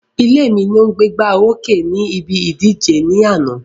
Ilé mi ni o gbégbá orókè ni ìbí ìdíje ní àná